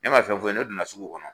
Ne ma fɛn fɔ u ye ne donna sugu kɔnɔ